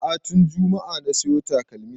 A'a tun juma'a na siyo takalmin